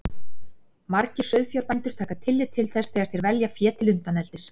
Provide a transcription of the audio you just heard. Margir sauðfjárbændur taka tillit til þess þegar þeir velja fé til undaneldis.